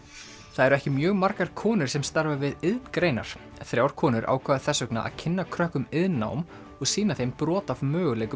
það eru ekki mjög margar konur sem starfa við iðngreinar þrjár konur ákváðu þess vegna að kynna krökkum iðnnám og sýna þeim brot af möguleikum